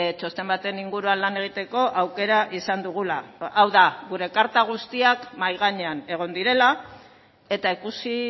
txosten baten inguruan lan egiteko aukera izan dugula hau da gure karta guztiak mahai gainean egon direla eta ikusi